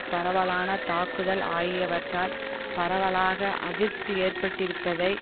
பரவலான தாக்குதல் ஆகியவற்றால் பரவலாக அதிருப்தி ஏற்பட்டிருப்பதை